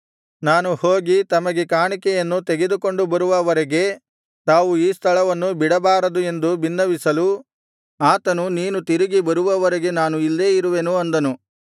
ನಾನು ಹೋಗಿ ತಮಗೆ ಕಾಣಿಕೆಯನ್ನು ತೆಗೆದುಕೊಂಡು ಬರುವ ವರೆಗೆ ತಾವು ಈ ಸ್ಥಳವನ್ನು ಬಿಡಬಾರದು ಎಂದು ಬಿನ್ನವಿಸಲು ಆತನು ನೀನು ತಿರುಗಿ ಬರುವ ವರೆಗೆ ನಾನು ಇಲ್ಲೇ ಇರುವೆನು ಅಂದನು